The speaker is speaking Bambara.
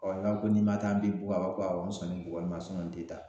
n'a ko n'i ma taa an bi bugɔ, a b'a fɔ ko awɔ n sɔnnen bugɔli ma n tɛ taa